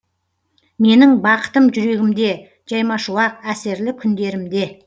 менің бақытым жүрегімде жаймашуақ әсерлі күндерімде